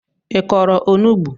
I kọrọ onugbu?